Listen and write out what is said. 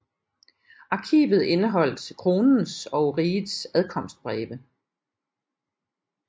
Arkivet indeholdt kronens og rigets adkomstbreve